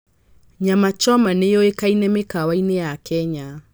Nyama choma nĩ yũĩkaine mĩkawa-inĩ ya Kenya.